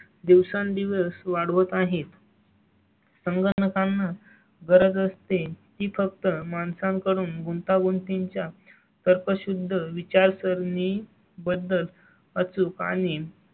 दिवसेंदिवस वाढवत आहेत. संगणकांना गरज असते ती फक्त माणसाकडून गुंतागुंती च्या तर्कशुद्ध विचारसरणी. बद्दल अचूक आणि